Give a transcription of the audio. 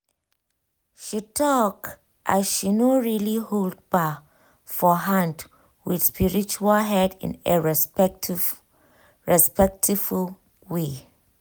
she talk as she no really hold bar for hand with spiritual head in a respectful way